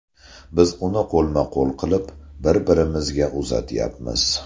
Biz uni qo‘lma-qo‘l qilib, bir-birimizga uzatyapmiz.